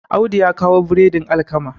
Audu ya kawo biredin alkama